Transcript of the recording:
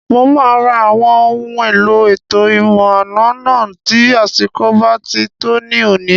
Mo máa ra àwọn ohun èlò ètò ìmọ̀-àna náà tí àsìkò bá ti tó ní òní